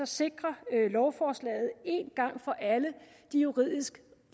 sikrer lovforslaget en gang for alle de juridisk